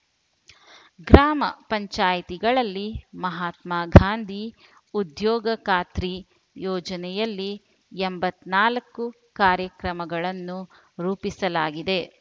ಗ್ರಾಮ ಪಂಚಾಯಿತಿಗಳಲ್ಲಿ ಮಹಾತ್ಮ ಗಾಂಧಿ ಉದ್ಯೋಗ ಖಾತ್ರಿ ಯೋಜನೆಯಲ್ಲಿ ಎಂಬತ್ತ್ ನಾಲ್ಕು ಕಾರ್ಯಕ್ರಮಗಳನ್ನು ರೂಪಿಸಲಾಗಿದೆ